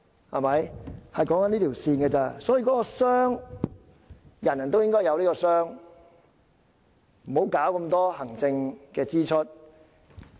我們討論的只是這條線，人人都應該有這個箱子，別搞這麼多行政支出。